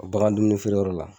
Bagan dumuni feereyɔrɔ la